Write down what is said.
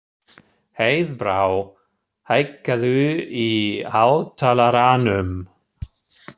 Heiðbrá, hækkaðu í hátalaranum.